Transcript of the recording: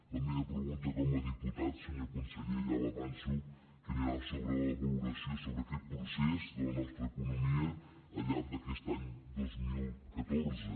la meva pregunta com a diputat senyor conseller ja avanço que anirà sobre la valoració sobre aquest procés de la nostra economia al llarg d’aquest any dos mil catorze